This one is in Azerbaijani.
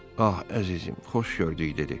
Ax, əzizim, xoş gördük dedi.